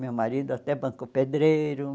Meu marido até bancou pedreiro.